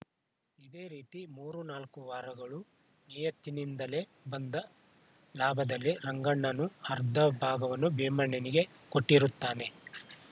ಇದೇ ರೀತಿ ಮೂರು ನಾಲ್ಕು ವಾರಗಳು ನಿಯತ್ತಿನಿಂದಲೇ ಬಂದ ಲಾಭದಲ್ಲಿ ರಂಗಣ್ಣನು ಅರ್ಧ ಭಾಗವನ್ನು ಭೀಮಣ್ಣನಿಗೆ ಕೊಟ್ಟಿರುತ್ತಾನೆ